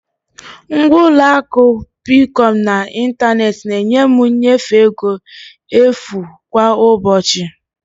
Ngwa ụlọ akụ Peekọm n'ịntanetị na-enye m nnyefe ego efu kwa ụbọchị.